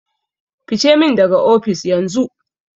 Fice min daga ofis, yanzu!